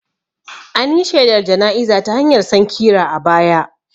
An yi shelar jana'iza ta hanyar sankira a baya